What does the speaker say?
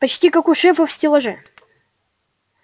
почти как у шефа в стеллаже